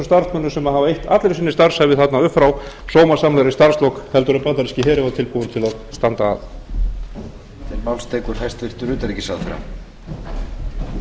starfsmönnum sem hafa eytt allri sinni starfsævi sinni upp frá sómasamlegri starfslok heldur en bandaríski herinn var tilbúinn til að standa að